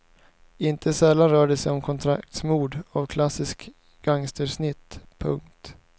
Inte sällan rör det sig om kontraktsmord av klassiskt gangstersnitt. punkt